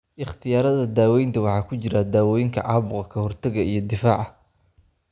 Ikhtiyaarada daawaynta waxa ku jira dawooyinka caabuqa ka hortaga iyo difaaca difaaca.